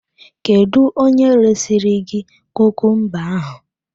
Kedu onye resiri gị kukumba ahụ?